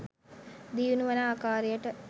දියුණු වන ආකාරයට